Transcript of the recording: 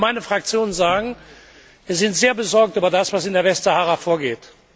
Ich will für meine Fraktion sagen Wir sind sehr besorgt über das, was in der Westsahara vorgeht.